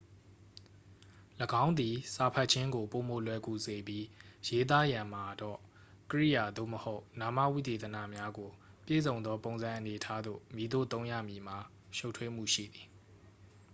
၎င်းသည် စာဖတ်ခြင်းကို ပိုမိုလွယ်ကူစေပြီး ရေးသားရန်မှာတော့ ကြိယာ သို့မဟုတ် နာမဝိသေသနများကို ပြည့်စုံသော ပုံစံအနေအထားသို့ မည်သို့သုံးရမည်မှာ ရှုပ်ထွေးမှုရှိသည်